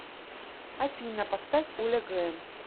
афина поставь оля грэм